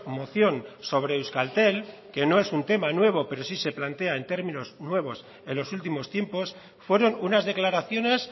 moción sobre euskaltel que no es un teme nuevo pero sí se plantea en términos nuevos en los últimos tiempos fueron unas declaraciones